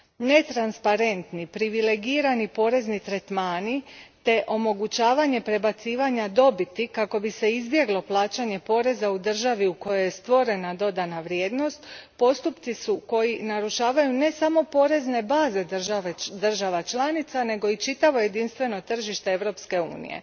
Netransparentni, privilegirani porezni tretmani te omogućavanje prebacivanja dobiti kako bi se izbjeglo plaćanje poreza u državi u kojoj je stvorena dodana vrijednost postupci su koji narušavaju ne samo porezne baze država članica nego i čitavo jedinstveno tržište Europske unije.